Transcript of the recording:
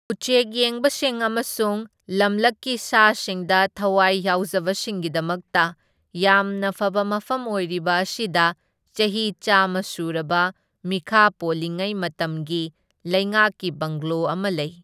ꯎꯆꯦꯛ ꯌꯦꯡꯕꯁꯤꯡ ꯑꯃꯁꯨꯡ ꯂꯝꯂꯛꯀꯤ ꯁꯥꯁꯤꯡꯗ ꯊꯋꯥꯏ ꯌꯥꯎꯖꯕꯁꯤꯡꯒꯤꯗꯃꯛꯇ ꯌꯥꯝꯅ ꯐꯕ ꯃꯐꯝ ꯑꯣꯢꯔꯤꯕ ꯑꯁꯤꯗ ꯆꯍꯤ ꯆꯥꯝꯃ ꯁꯨꯔꯕ ꯃꯤꯈꯥ ꯄꯣꯜꯂꯤꯉꯩ ꯃꯇꯝꯒꯤ ꯂꯩꯉꯥꯛꯀꯤ ꯕꯪꯒ꯭ꯂꯣ ꯑꯃ ꯂꯩ꯫